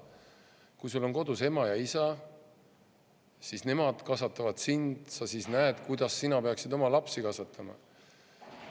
Kui sul on kodus ema ja isa, siis nemad kasvatavad sind ja sa näed, kuidas sina peaksid oma lapsi kasvatama.